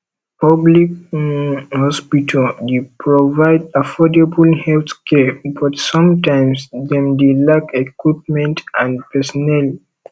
public um hospital dey provide affordable healthcare but sometimes dem dey lack equipment and pesinnel